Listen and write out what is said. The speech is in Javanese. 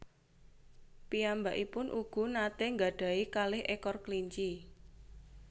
Piyambakipun ugu natè nggadahi kalih ekor kelinci